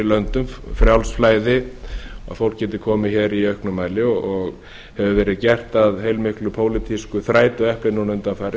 löndum frjálst flæði að fólk geti komið hér í auknum mæli og hefur verið gert að heilmiklu pólitísku þrætuepli núna undanfarið